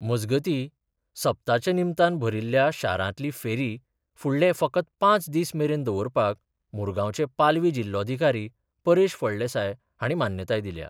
मजगतीं सप्ताच्या निमतान भरिल्ल्या शारांतली फेरी फुडले फकत पाच दीस मेरेन दवरपाक मुरगांवचे पालवी जिल्लोधिकारी परेश फळदेसाय हांणी मान्यताय दिल्या.